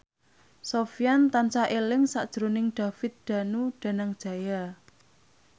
Sofyan tansah eling sakjroning David Danu Danangjaya